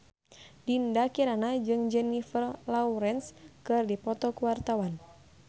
Dinda Kirana jeung Jennifer Lawrence keur dipoto ku wartawan